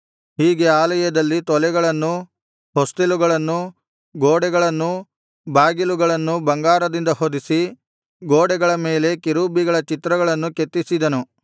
ಹೀಗೆ ಆಲಯದಲ್ಲಿನ ತೊಲೆಗಳನ್ನೂ ಹೊಸ್ತಿಲುಗಳನ್ನು ಗೋಡೆಗಳನ್ನೂ ಬಾಗಿಲುಗಳನ್ನೂ ಬಂಗಾರದಿಂದ ಹೊದಿಸಿ ಗೋಡೆಗಳ ಮೇಲೆ ಕೆರೂಬಿಗಳ ಚಿತ್ರಗಳನ್ನು ಕೆತ್ತಿಸಿದನು